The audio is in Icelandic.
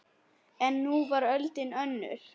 En nú var öldin önnur.